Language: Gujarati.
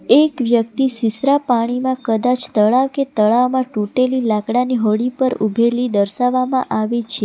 એક વ્યક્તિ સિસરા પાણીમાં કદાચ તળા કે તળાવમાં તૂટેલી લાકડાની હોડી પર ઉભેલી દર્શાવવામાં આવી છે.